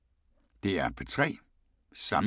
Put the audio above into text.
DR P3